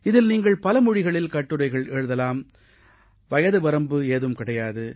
இதில் நீங்கள் பல மொழிகளில் கட்டுரைகள் எழுதலாம் வயதுவரம்பு ஏதும் கிடையாது